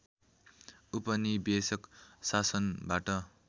उपनिवेशिक शासनबाट